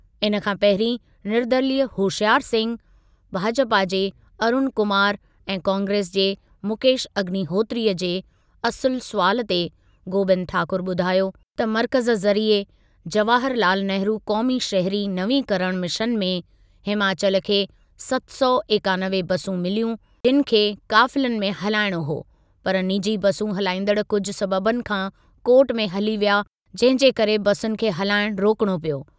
इन खां पहिरीं निर्दलीय होशियार सिंह, भाजपा जे अरुण कुमार ऐं कांग्रेस जे मुकेश अग्निहोत्रीअ जे असुल सुवालु ते गोबिंद ठाकुर ॿुधायो त मर्कज़ु ज़रिए जवाहर लाल नेहरू क़ौमी शहिरी नवीकरण मिशन में हिमाचल खे सत सौ एकानवे बसूं मिलियूं जिनि खे क़ाफ़िलनि में हलाइणो हो पर निजी बसूं हलाईंदड़ कुझु सबबनि खां कोर्टु में हली विया जंहिं जे करे बसुनि खे हलाइण रोकिणो पियो।